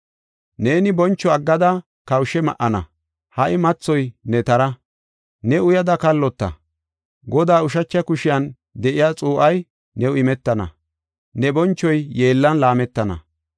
Neeni boncho aggada kawushe ma77ana. Ha77i mathoy ne tara; ne uyada kallota. Godaa ushacha kushiyan de7iya xuu7ay new imetana; ne bonchoy yeellan laametana.